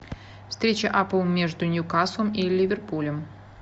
встреча апл между ньюкаслом и ливерпулем